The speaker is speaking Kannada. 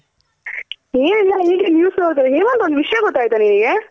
ಹೇಮಂತ್ ಒಂದ್ ವಿಷ್ಯ ಗೊತ್ತಾಯ್ತ ನಿಂಗೆ?